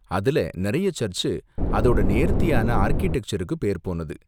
அதுல நிறைய சர்ச்சு அதோட நேர்த்தியான ஆர்க்கிடெக்சருக்கு பேர்போனது.